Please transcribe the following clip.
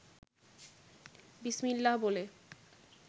বিসমিল্লাহ বলে